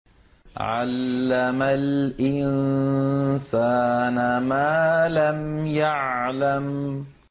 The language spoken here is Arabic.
عَلَّمَ الْإِنسَانَ مَا لَمْ يَعْلَمْ